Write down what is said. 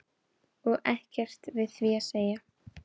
Og ekkert við því að segja.